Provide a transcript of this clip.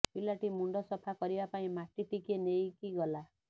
ପିଲାଟି ମୁଣ୍ଡ ସଫା କରିବା ପାଇଁ ମାଟି ଟିକିଏ ନେଇକି ଗଲା